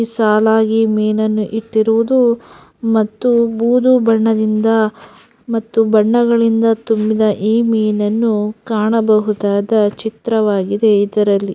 ಸಾಲಾಗಿ ಮೀನನ್ನು ಇಟ್ಟಿರುವುದು ಮತ್ತು ಬೂದು ಬಣ್ಣದಿಂದ ಮತ್ತು ಬಣ್ಣಗಳಿಂದ ತುಂಬಿದ ಮೀನನ್ನು ಕಾಣಬಹುದಾದ ಚಿತ್ರ ವಾಗಿದೆ ಇದರಲ್ಲಿ.